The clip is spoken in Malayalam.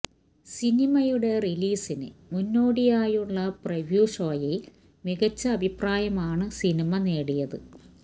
സിനിമയുടെ റിലീസിന് മുന്നോടിയായുള്ള പ്രിവ്യു ഷോയിൽ മികച്ച അഭിപ്രായമാണ് സിനിമ നേടിയത്